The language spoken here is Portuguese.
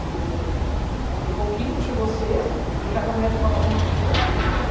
Porque chegou quinta, chegou sexta e cada médico falava uma coisa.